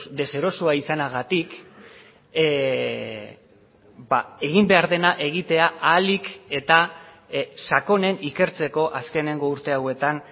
deserosoa izanagatik egin behar dena egitea ahalik eta sakonen ikertzeko azkeneko urte hauetan